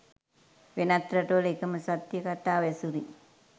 වෙනත් රටවල එකම සත්‍ය කතාව ඇසුරින්